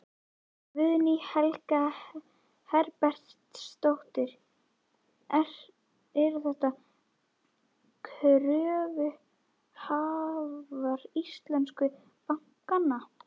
Guðný Helga Herbertsdóttir: Eru þetta kröfuhafar íslensku bankanna?